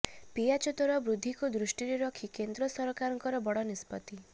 ପିଆଜ ଦର ବୃଦ୍ଧିକୁ ଦୃଷ୍ଟିରେ ରଖି କେନ୍ଦ୍ର ସରକାରଙ୍କ ବଡ଼ ନିଷ୍ପତି